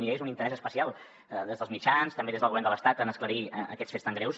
hi hagués un interès especial des dels mitjans també des del govern de l’estat en esclarir aquests fets tan greus